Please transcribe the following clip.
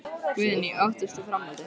Guðný: Óttast þú framhaldið?